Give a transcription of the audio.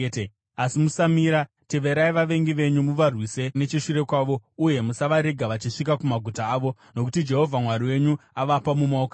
Asi musamira! Teverai vavengi venyu, muvarwise necheshure kwavo uye musavarega vachisvika kumaguta avo, nokuti Jehovha Mwari wenyu avapa mumaoko enyu.”